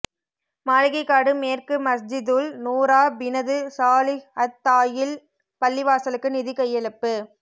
மாளிகைக்காடு மேற்கு மஸ்ஜிதுல் நூறா பினது சாலிஹ் அத் தாயில் பள்ளிவாசலுக்கு நிதி கையளிப்பு